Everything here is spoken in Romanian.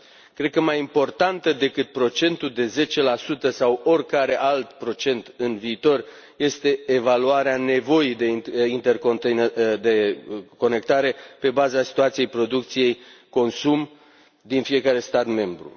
Cred că mai importantă decât procentul de 10 sau oricare alt procent în viitor este evaluarea nevoii de interconectare pe baza situației producție consum din fiecare stat membru.